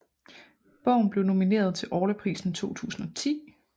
Bogen blev nomineret til Orlaprisen 2010